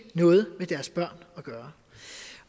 noget med deres børn at gøre